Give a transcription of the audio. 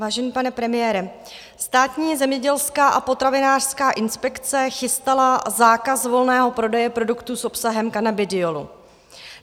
Vážený pane premiére, Státní zemědělská a potravinářská inspekce chystala zákaz volného prodeje produktů s obsahem kanabidiolu.